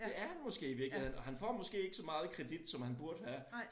Det er han måske i virkeligheden og han får måske ikke så meget kredit som han burde have